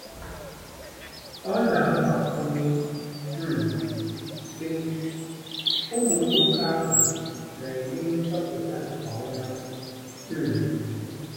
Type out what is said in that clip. Ọ na-agbakwụnye, um sị: “Ụmụ nwoke ahụ na-eme nchọpụta nke ọma um.